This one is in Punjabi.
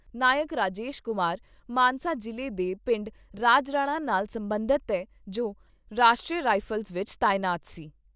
ਨਾਇਕ ਰਾਜੇਸ਼ ਕੁਮਾਰ ਮਾਨਸਾ ਜਿਲ੍ਹੇ ਦੇ ਪਿੰਡ ਰਾਜਰਾਣਾ ਨਾਲ ਸਬੰਧਤ ਏ ਜੋ ਰਾਸ਼ਟਰੀਯ ਰਾਈਫਲਜ ਵਿਚ ਤਾਇਨਾਤ ਸੀ।